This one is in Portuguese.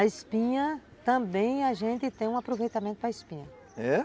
A espinha, também a gente tem um aproveitamento para a espinha, é?